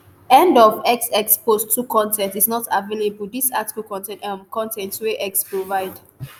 end of x x post 2 con ten t is not available dis article contain um con ten t wey x provide.